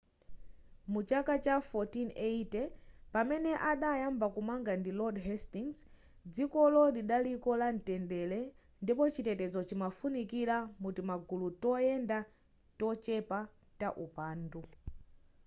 mu chaka cha 1480 pamene adayamba kumanga ndi lord hastings dzikolo lidaliko la mtendere ndipo chitetezo chimafunikira mu timagulu toyendayenda tochepa ta upandu